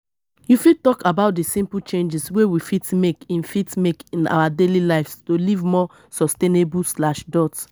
you fit talk about di simple changes wey we fit make in fit make in our daily lives to live more sustainable.